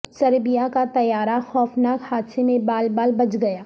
سربیاکا طیارہ خوفناک حادثے میں بال بال بچ گیا